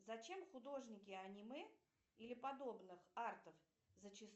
зачем художники аниме или подобных артов зачастую